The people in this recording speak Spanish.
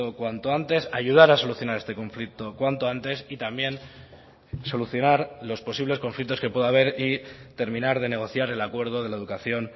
cuanto antes ayudar a solucionar este conflicto cuanto antes y también solucionar los posibles conflictos que pueda haber y terminar de negociar el acuerdo de la educación